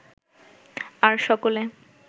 আর সকলে